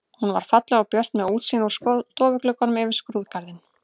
Hún var falleg og björt með útsýni úr stofugluggunum yfir skrúðgarðinn.